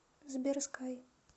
сбер скай